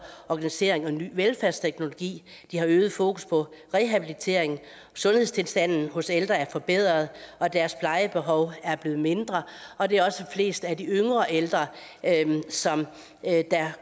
organisering og ny velfærdsteknologi de har øget fokus på rehabilitering sundhedstilstanden hos ældre er forbedret og deres plejebehov er blevet mindre og det er også flest af de yngre ældre som